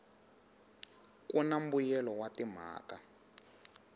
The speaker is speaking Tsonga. ku na mbuyelelo wa timhaka